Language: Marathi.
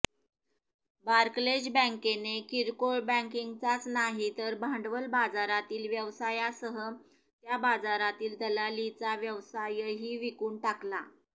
बार्कलेज बँकेने किरकोळ बँकिंगचाच नाही तर भांडवल बाजारातील व्यवसायासह त्या बाजारातील दलालीचा व्यवसायही विकून टाकला